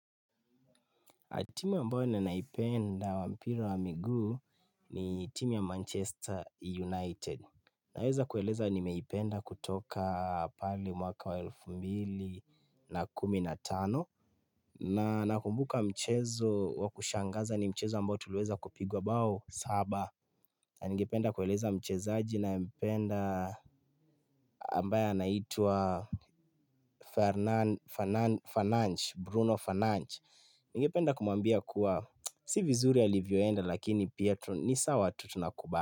Timu ambayo nenaipenda wampira wa miguu ni timu ya Manchester United. Naweza kueleza nimeipenda kutoka pahali mwaka wa elfu mbili na kumi na tano. Na nakumbuka mchezo wa kushangaza ni mchezo ambao tuliweza kupigwa bao saba. Na ningependa kueleza mchezaji ninayempenda ambayo anaitwa Bruno Fananche. Nige penda kumwambia kuwa si vizuri alivyoenda lakini pia nisawa tu tunakuba.